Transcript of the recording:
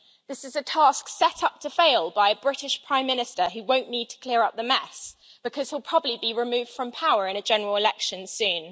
This is a task set up to fail by a British Prime Minister who won't need to clear up the mess because he'll probably be removed from power in a general election soon.